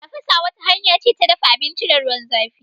Tafasa wata hanya ce ta dafa abinci da ruwan zãfi.